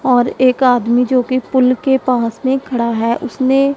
और एक आदमी जो की पुल के पास में खड़ा है उसने --